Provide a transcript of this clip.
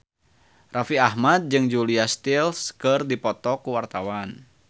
Raffi Ahmad jeung Julia Stiles keur dipoto ku wartawan